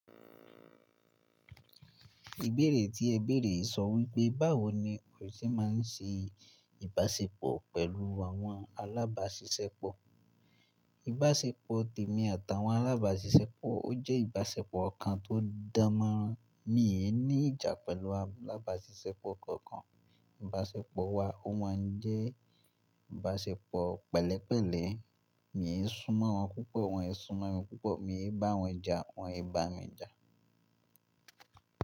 Ìbéèrè tí ẹ béèrè sọ wípé, báwo ni Kòyíṣẹ́ máa ń ṣe ìbáṣepọ̀ pẹ̀lú àwọn alábàáṣiṣẹ́pọ̀? Ìbáṣepọ̀ tèmi àtàwọn alábàáṣiṣẹ́pọ̀, ó jẹ́ ìbáṣepọ̀ kan tó dán mọ́rán. Mí è ní ìjà pẹ̀lú alábàáṣiṣẹ́pọ̀ kankan. Ìbáṣepọ̀ wa ó máa ń jẹ́ ìbáṣepọ̀ pẹ̀lẹ́pẹ̀lẹ́. Mí ń súnmọ́ wọn púpọ̀, wọ́n ń súnmọ́ mi púpọ̀. Mí ń bá wọn ja, wọ́n ń bá mi ja.